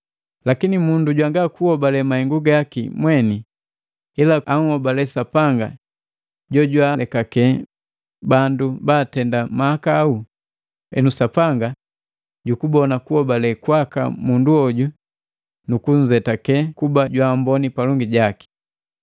Lakini mundu jwanga kuhobale mahengu gaki mweni, ila anhobale Sapanga jojwaalekake bandu baatende mahakau, henu Sapanga jukubona kuhobale kwaka mundu hoju nukunzetake kuba jwaamboni palongi jaki.